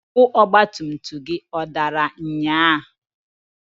Ukwu ọgbatumtum gị ọ dalụ nnyaa?